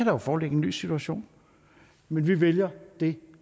jo foreligge en ny situation men vi vælger det